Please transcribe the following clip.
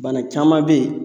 Bana caman be yen